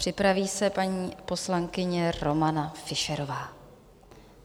Připraví se paní poslankyně Romana Fischerová.